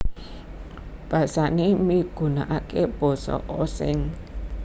Basané migunakaké Basa Osing